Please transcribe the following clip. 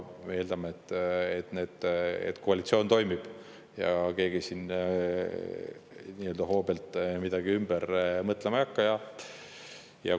Me eeldame, et koalitsioon toimib ja keegi siin hoobilt midagi ümber mõtlema ei hakka.